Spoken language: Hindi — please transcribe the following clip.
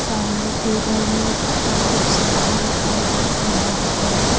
सामने टेबल है उस पर कुछ समान रखा है जैसे बॉटल --